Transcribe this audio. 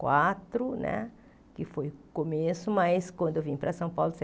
Quatro né que foi o começo, mas quando eu vim para São Paulo,